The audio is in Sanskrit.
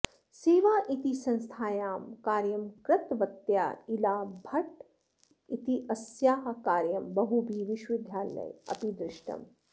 सेवा इति संस्थायां कार्यं कृतवत्याः इला भट्ट इत्यस्याः कार्यं बहुभिः विश्वविद्यालयैः अपि दृष्टम्